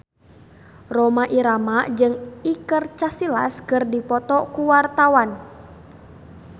Rhoma Irama jeung Iker Casillas keur dipoto ku wartawan